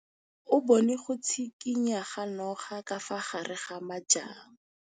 O bone go tshikinya ga noga ka fa gare ga majang.